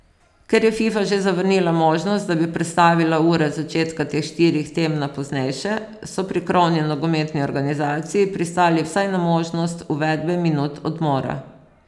Ker je Fifa že zavrnila možnost, da bi prestavila ure začetka teh štirih tem na poznejše, so pri krovni nogometni organizaciji pristali vsaj na možnost uvedbe minut odmora.